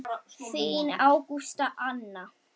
Þín Ágústa Anna.